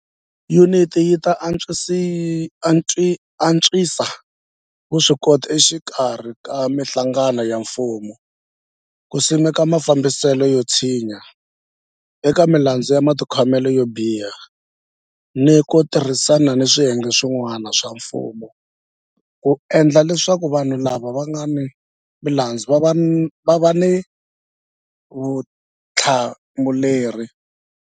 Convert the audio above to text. Yuniti yi ta antswisa vuswikoti exikarhi ka mihlangano ya mfumo ku simeka mafambiselo yo tshinya eka milandzu ya matikhomelo yo biha ni ku tirhisana ni swiyenge swi n'wana swa mfumo ku endla leswaku vanhu lava nga ni milandzu va va ni vutihlamuleri.